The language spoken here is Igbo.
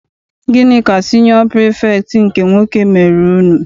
Gịnị ka siniọ pirifektị nke nwoke mere unu?